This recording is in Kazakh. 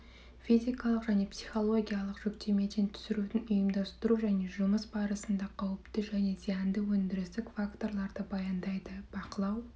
физикалық және психологиялық жүктемеден түсірудің ұйымдастыру және жұмыс барысында қауіпті және зиянды өндірістік факторларды баяндайды бақылау